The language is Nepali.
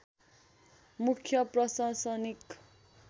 मुख्य प्रशासनिक